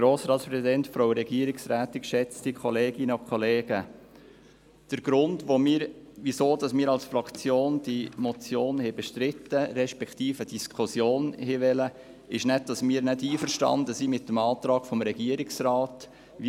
Der Grund, weswegen wir als Fraktion diese Motion bestreiten, respektive die Diskussion gewollt haben, ist nicht, dass wir nicht einverstanden mit dem Antrag des Regierungsrates sind.